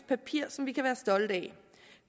papir som vi kan være stolte af